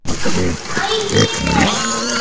Skjótt hefur sól brugðið sumri